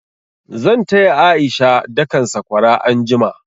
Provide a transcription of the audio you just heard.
Zan taya A'isha dakan sakwara anjima.